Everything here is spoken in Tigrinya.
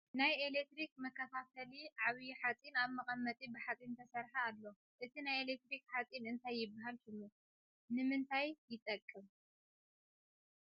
ናይ ኢሌክትሪክ መከፋፈሊ ዓብይ ሓፂን ኣብ መቀመጢ ብሓፂን ዝተሰርሐ ኣሎ ። እቲ ናይ ኤሌክትሪክ ሓፂን እንታይ ይበሃል ሽሙ ? ይምንታይ ይጠቅም ?